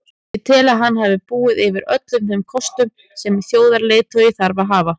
Ég tel að hann hafi búið yfir öllum þeim kostum sem þjóðarleiðtogi þarf að hafa.